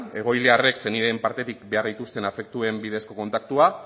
egoiliarrek senideen partetik behar dituzten afektuen bidezko kontaktua